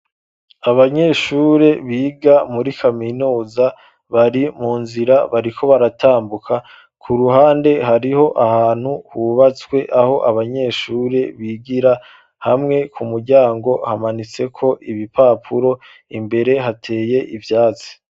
Abanyeshure, biga muri kaminuza, bari mu nzira, bariko baratambuka; ku ruhande, hariho ahantu hubatswe, aho abanyeshure bigira, hamwe ku muryango hamanitseko ibipapuro, imbere hateye ivyatsi.